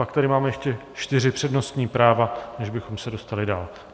Pak tady mám ještě čtyři přednostní práva, než bychom se dostali dál.